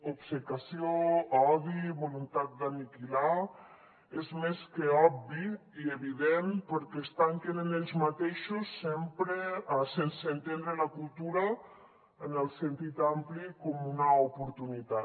obcecació odi voluntat d’aniquilar és més que obvi i evident perquè es tanquen en ells mateixos sempre sense entendre la cultura en el sentit ampli com una oportunitat